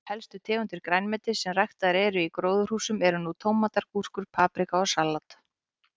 Helstu tegundir grænmetis sem ræktaðar eru í gróðurhúsum eru nú tómatar, agúrkur, paprika og salat.